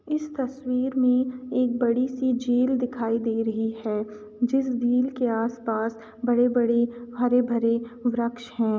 इस तस्वीर में एक बड़ी सी झील दिखाई दे रही है जिस झील के आस पास बड़े बड़े हरे भरे वृक्ष हैं।